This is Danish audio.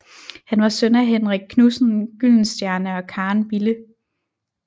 Han var søn af Henrik Knudsen Gyldenstierne og Karen Bille